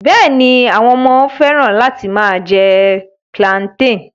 Bẹ́ẹ̀ni, àwọn ọmọ fẹ́ràn láti máa jẹ plantain